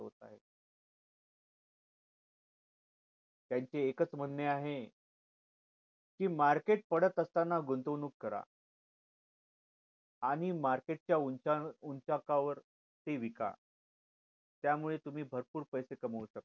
त्यांचे एक च म्हणणे आहे कि market पडत असताना गुंतवणूक करा आणि market च्या उंचा उंचाकावर विका त्यामुळे तुम्ही भरपूर पैसे कमावू शकता